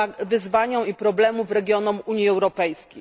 wyzwaniom i problemom regionów Unii Europejskiej.